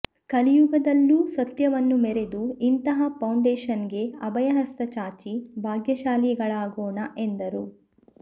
ಕಲಿಯುಗದಲ್ಲ್ಲೂ ಸತ್ಯವನ್ನು ಮೆರೆದು ಇಂತಹ ಫೌಂಡೇಶನ್ಗೆ ಅಭಯಹಸ್ತ ಚಾಚಿ ಭಾಗ್ಯಶಾಲಿಗಳಾಗೋಣ ಎಂದರು